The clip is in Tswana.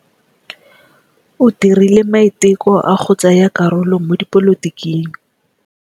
O dirile maitekô a go tsaya karolo mo dipolotiking.